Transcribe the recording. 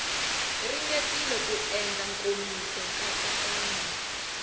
ringetile ku endla nkomiso nkatsakanyo